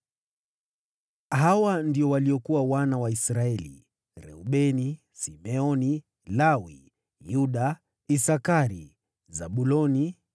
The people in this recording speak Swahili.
Hawa ndio waliokuwa wana wa Israeli: Reubeni, Simeoni, Lawi, Yuda, Isakari, Zabuloni,